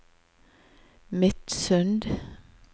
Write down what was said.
Midsund